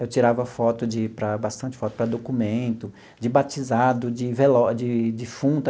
Eu tirava foto de para, bastante foto, para documento, de batizado, de velório de defunto.